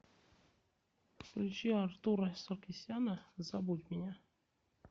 включи артура саркисяна забудь меня